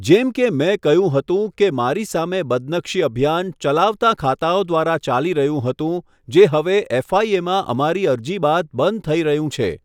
જેમ કે મેં કહ્યું હતું કે મારી સામે બદનક્ષી અભિયાન ચલાવતાં ખાતાઓ દ્વારા ચાલી રહ્યું હતું, જે હવે એફ.આઈ.એમાં અમારી અરજી બાદ બંધ થઈ રહ્યું છે.